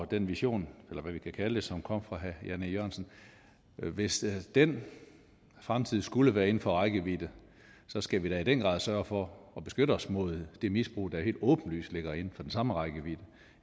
den vision eller hvad vi kan kalde det som kom fra herre jan e jørgensen hvis den fremtid skulle være inden for rækkevidde skal vi da i den grad sørge for at beskytte os mod det misbrug der helt åbenlyst ligger inden for den samme rækkevidde